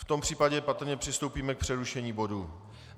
V tom případě patrně přistoupíme k přerušení bodu.